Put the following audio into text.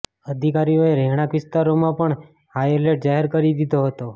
અધિકારીઓએ રહેણાંક વિસ્તારોમાં પણ હાઇ એલર્ટ જાહેર કરી દીધો હતો